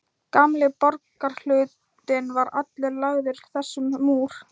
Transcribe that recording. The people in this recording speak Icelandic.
Gamli borgarhlutinn var allur lagður þessum múr.